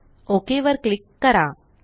okay वर click करा